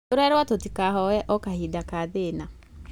Tũrerwo tũtikahoye o kahinda ka thĩna